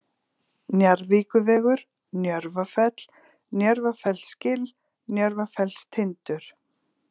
Njarðvíkurvegur, Njörfafell, Njörfafellsgil, Njörfafellstindur